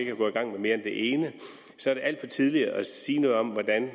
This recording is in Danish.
er gået i gang med mere end det ene alt for tidligt at sige noget om hvordan